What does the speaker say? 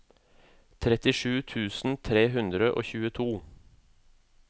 trettisju tusen tre hundre og tjueto